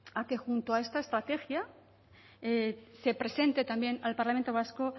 a que junto a esta estrategia se presente también al parlamento vasco